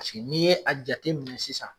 Paseke n'i ye a jateminɛ sisan